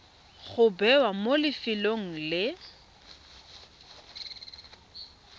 go bewa mo lefelong le